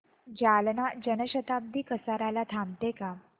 जालना जन शताब्दी कसार्याला थांबते का